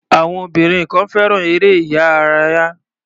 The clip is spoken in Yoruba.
Àwọn obìnrin kan fẹ́ràn eré-ìárayá.